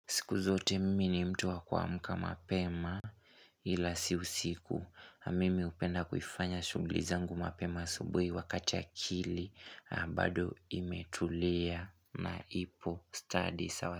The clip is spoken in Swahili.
Siku zote mimi ni mtu wakuamka mapema ila si usiku. Mimi hupenda kuifanya shughli zangu mapema asubuhi wakati akili. Bado imetulea na ipo stadi sawa.